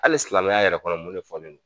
Hali silamɛya yɛrɛ kɔnɔ mun de fɔlen do?